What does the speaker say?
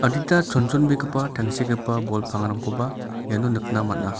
adita chonchonbegipa tangsekgipa bol pangrangkoba iano nikna man·a.